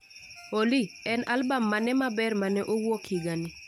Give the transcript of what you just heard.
Olly, en albam mane maber mane owuok higani